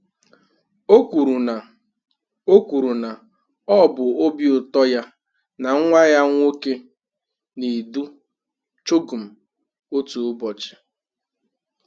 O kwuru na ọ kwuru na ọ bụ obi ụtọ ya na nwa ya nwoke na-edu CHOGM otu ụbọchị.